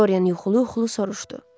Doryan yuxulu-yuxulu soruşdu.